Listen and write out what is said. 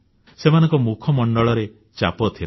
ସେମାନଙ୍କ ମୁଖମଣ୍ଡଳରେ ଚାପ ଥିଲା